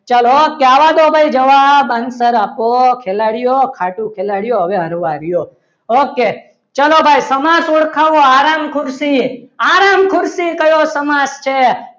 okay okay આવા દો ભાઈ જવાબ અંદર આપો ખેલાડીઓ ખાટું ખેલાડીઓ હવે આવા દો. okay ચાલો ભાઈ સમાસ ઓળખાવો આરામ ખુરશી આરામ ખુરશી કયો સમાજ છે.